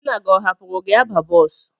Nna gị ọ hapụrụ gị aba bọọsụ?